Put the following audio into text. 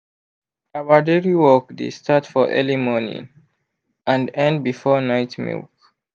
our dairy work dey start for early morning and end before night milk.